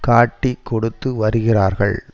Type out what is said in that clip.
காட்டிக்கொடுத்து வருகிறார்கள்